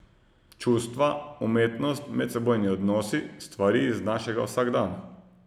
Čustva, umetnost, medsebojni odnosi, stvari iz našega vsakdana.